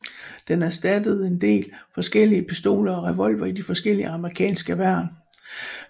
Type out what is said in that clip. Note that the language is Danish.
Den erstattede en del forskellige pistoler og revolvere i de forskellige amerikanske værn